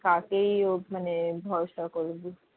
কাকেই উম মানে ভরসা করবি?